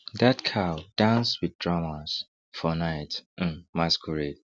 that cow dance with drummers for night um masquerade